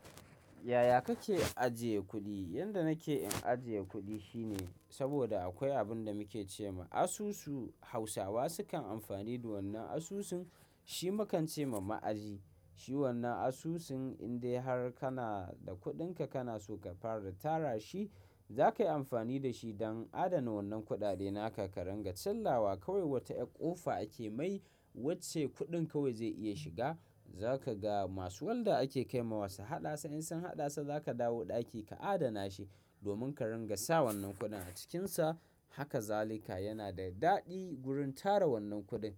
Yaya kake ajiye kuɗi? Yanda nake in ajiye kuɗi shine saboda akwai abin da muke ce ma asusu. Hausawa sukan amfani da wannan asusun shi mu kan ce ma ma'aji. Shi wannan asusun in dai har kana da kuɗinka kana so ka fara tara shi, za ka yi amfani da shi don adana wannan kuɗaɗe na ka ringa. Chilawa kawai wata yar ƙofa ake mai wacce kuɗin kawai zai iya shiga. Za ka ga masu walda ake kai ma wa su haɗa sa. In sun haɗasa za ka dawo ɗaki ka adana shi domin ka ringa sa wannan kuɗin a cikinsa. Haka zalika yana da daɗi gurin tara wannan kuɗin.